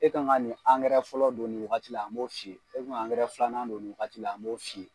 E kan ka nin angɛrɛ fɔlɔ don nin wagati la an b'o f'i ye e kan ka angɛrɛ filanan don nin wagati la an b'o f'i ye.